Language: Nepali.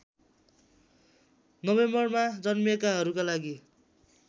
नोभेम्बरमा जन्मिएकाहरूका लागि